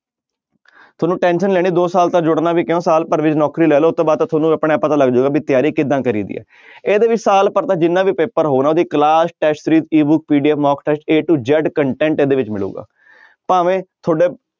ਤੁਹਾਨੂੰ tension ਨੀ ਲੈਣੀ ਦੋ ਸਾਲ ਤੱਕ ਜੁੜਨਾ ਵੀ ਕਿਉਂ ਸਾਲ ਭਰ ਵਿੱਚ ਨੌਕਰੀ ਲੈ ਲਓ ਉਹ ਤੋਂ ਬਾਅਦ ਤਾਂ ਤੁਹਾਨੂੰ ਆਪਣੇ ਆਪ ਪਤਾ ਲੱਗ ਜਾਏਗਾ ਵੀ ਤਿਆਰੀ ਕਿੱਦਾਂ ਕਰੀਦੀ ਹੈ ਇਹਦੇ ਵਿੱਚ ਸਾਲ ਭਰ ਦਾ ਜਿੰਨਾ ਵੀ ਪੇਪਰ ਹੋਣ ਉਹਦੀ class test PDF mock test a to z content ਇਹਦੇ ਵਿੱਚ ਮਿਲੇਗਾ ਭਾਵੇਂ ਤੁਹਾਡੇ